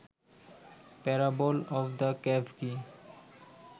parable of the cave key